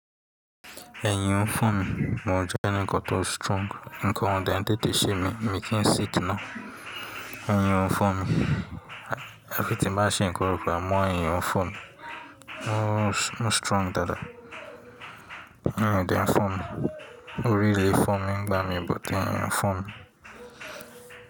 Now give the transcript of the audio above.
Ẹ̀yin ń fún mi, mo ò jẹ́ ẹni kan tó strong. Nǹkan òo de ń tètè ṣe mi, mi kì í sick ná. Ẹ̀yin ń fún mi. Ẹ fi ti máa ṣe ń koruko, àmọ́ ẹ̀yin ń fún mi. Mo strong dáadáa. Wọ́n de ń fún mi. Ori le fọ mi, ń gbá mi, but ẹ̀yin ń fọ mi.